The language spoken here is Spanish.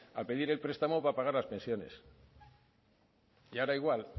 a pedir el prestamo para pagar las pensiones y ahora igual